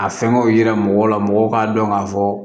A fɛngɛw yira mɔgɔw la mɔgɔw k'a dɔn k'a fɔ